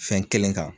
Fɛn kelen kan